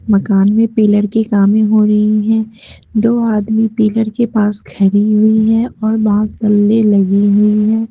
मकान में पिलर के कामें हो रही हैं दो आदमी पिलर के पास खड़ी हुई हैं और बांस बल्ले लगी हुई हैं।